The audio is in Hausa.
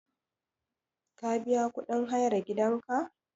Ka biya kuɗin hayar gidanka?